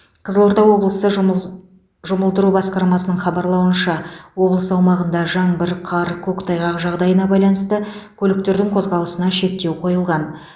қызылорда облысы жұмы жұмылдыру басқармасының хабарлауынша облыс аумағында жаңбыр қар көктайғақ жағдайына байланысты көліктердің қозғалысына шектеу қойылған